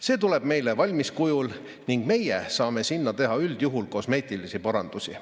See tuleb meile valmis kujul ning meie saame teha üldjuhul kosmeetilisi parandusi.